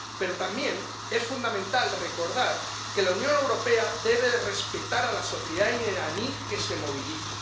Pero también es fundamental recordar que la Unión Europea debe respetar a la sociedad iraní que se moviliza.